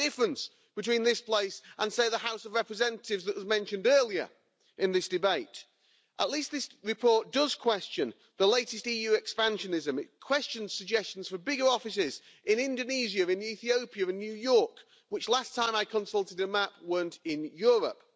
That's the difference between this place and, say, the House of Representatives, which was mentioned earlier in this debate. At least this report does question the latest EU expansionism. It questions suggestions for bigger offices in Indonesia, Ethiopia and New York, which, last time I consulted a map, weren't in Europe.